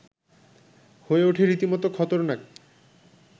হয়ে ওঠে রীতিমতো খতরনাক